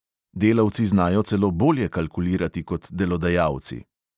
Delavci znajo celo bolje kalkulirati kot delodajalci.